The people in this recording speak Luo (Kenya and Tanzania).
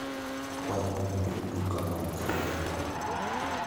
akwayo ni itug tukaa mar kriket